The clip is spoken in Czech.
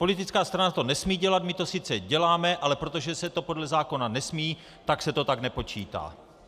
Politická strana to nesmí dělat, my to sice děláme, ale protože se to podle zákona nesmí, tak se to tak nepočítá.